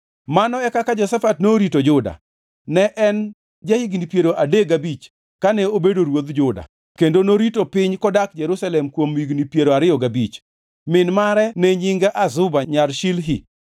Mano e kaka Jehoshafat norito Juda. Ne en ja-higni piero adek gabich kane obedo ruodh Juda kendo norito piny kodak Jerusalem kuom higni piero ariyo gabich. Min mare ne nyinge Azuba nyar Shilhi.